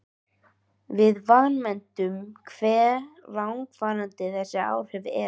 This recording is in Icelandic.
Við vanmetum hve langvarandi þessi áhrif eru.